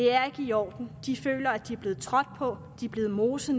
er i orden de føler at de er blevet trådt på de er blevet moset